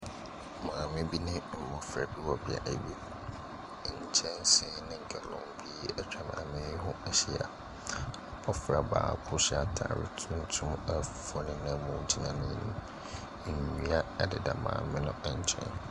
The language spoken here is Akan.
Maame bi ne mmɔfra bi wɔ beae bi. Nkyɛnse ne gallon bi atwa maame no ho ahyia. Abɔfra baako hyɛ atare tuntum a fufuo nenam mu gyina n'anim. Nnua deda maame no nkyɛn.